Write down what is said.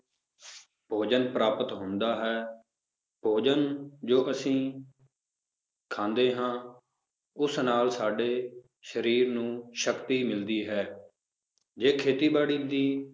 ਭੋਜਨ ਪ੍ਰਾਪਤ ਹੁੰਦਾ ਹੈ ਭੋਜਨ ਜੋ ਅਸੀਂ ਖਾਂਦੇ ਹਾਂ ਉਸ ਨਾਲ ਸਾਡੇ ਸਰੀਰ ਨੂੰ ਸ਼ਕਤੀ ਮਿਲਦੀ ਹੈ ਜੇ ਖੇਤੀਬਾੜੀ ਦੀ